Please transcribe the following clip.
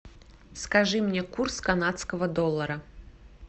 скажи мне курс канадского доллара